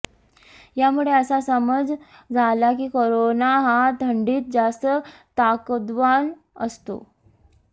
यामुळे असा समज झाला की करोना हा थंडीत जास्त ताकदवान असतो